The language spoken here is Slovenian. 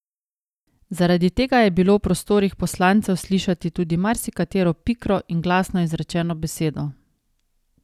Zaradi tega je bilo v prostorih poslancev slišati tudi marsikatero pikro in glasno izrečeno besedo.